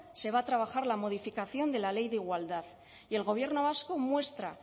se va a trabajar la modificación de la ley de igualdad y el gobierno vasco muestra